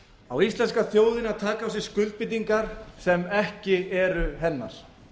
á íslenska þjóðin að taka á sig skuldbindingar sem ekki eru hennar